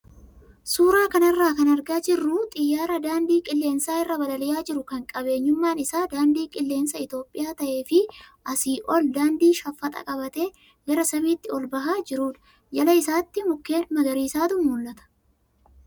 Suuraa kanarraa kan argaa jirru xiyyaara daandii qilleensa irra balali'aa jiru kan qabeenyummaan isaa daandii qilleensa Itoophiyaa ta'ee fi asii ol daandii shaffaxaa qabatee gara samiitti ol bahaa jirudha. Jala isaatii mukkeen magariisatu mul'ata.